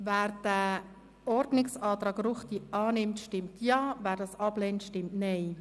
Wer den Ordnungsantrag Ruchti annimmt, stimmt Ja, wer diesen ablehnt, stimmt Nein.